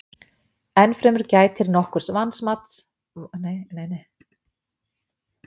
enn fremur gætir nokkurs vanmats í þjóðskránni